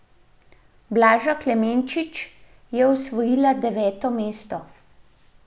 Blaža Klemenčič je osvojila deveto mesto.